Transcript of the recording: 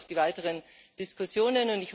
Ich freue mich auf die weiteren Diskussionen.